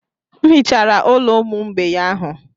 M hichara ụlọ ụmụ mgbei ahụ.